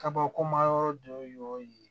Kabakoma yɔrɔ dɔ y'o ye